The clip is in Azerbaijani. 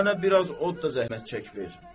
Elə mənə biraz od da zəhmət çək ver.